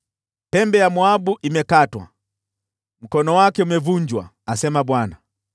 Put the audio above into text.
Pembe ya Moabu imekatwa, mkono wake umevunjwa,” asema Bwana .